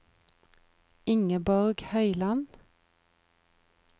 Ingeborg Høyland